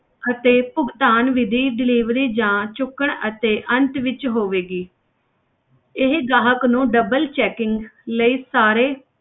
ਅਤੇ ਭੁਗਤਾਨ ਵਿੱਧੀ delivery ਜਾਂ ਚੁੱਕਣ ਅਤੇ ਅੰਤ ਵਿੱਚ ਹੋਵੇਗੀ ਇਹ ਗਾਹਕ ਨੂੰ double checking ਲਈ ਸਾਰੇ।